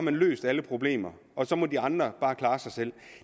har løst alle problemer og så må de andre bare klare sig selv